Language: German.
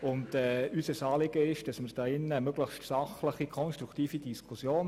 Unser Anliegen ist es, eine möglichst sachliche und konstruktive Diskussion zu führen.